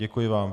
Děkuji vám.